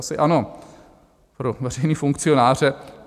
Asi ano, pro veřejné funkcionáře.